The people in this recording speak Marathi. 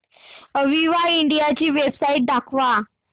अविवा इंडिया ची वेबसाइट दाखवा